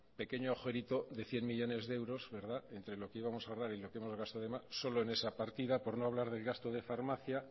pequeño agujerito de cien millónes de euros entre lo que íbamos a ahorrar y lo que hemos gastado de más solo en esa partida por no hablar del gasto de farmacia